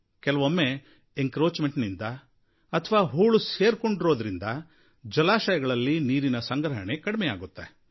ಕೆಲವೊಮ್ಮೆ ಒತ್ತುವರಿಯಿಂದಾಗಿಯೋ ಹೂಳು ಸೇರಿಕೊಂಡಿರೋದ್ರಿಂದಾಗಿಯೋ ಜಲಾಶಯಗಳಲ್ಲಿ ನೀರಿನ ಸಂಗ್ರಹಣೆಯೂ ಕಡಿಮೆ ಆಗುತ್ತದೆ